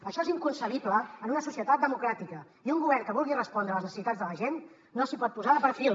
això és inconcebible en una societat democràtica i un govern que vulgui respondre a les necessitats de la gent no s’hi pot posar de perfil